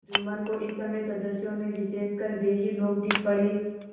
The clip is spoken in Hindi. जुम्मन को इस समय सदस्यों में विशेषकर वे ही लोग दीख पड़े